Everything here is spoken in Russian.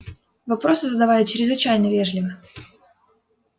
вопросы задавали чрезвычайно вежливо